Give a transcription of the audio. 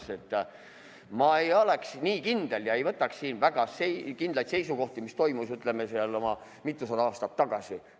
Nii et ma ei oleks nii kindel ega võtaks siin väga kindlaid seisukohti, mis toimus oma mitusada aastat tagasi.